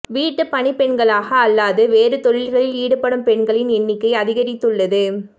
வீட்டுப் பணிப்பெண்களாக அல்லாது வேறு தொழில்களில் ஈடுபடும் பெண்களின் எண்ணிக்கை அதிகரித்துள்ளது